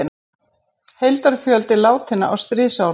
Heildarfjöldi látinna á stríðsárunum